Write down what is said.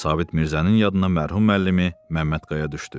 Sabit Mirzənin yadına mərhum müəllimi Məmmədqaya düşdü.